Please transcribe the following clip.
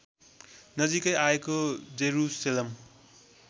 नजिकै आएको जेरूशेलम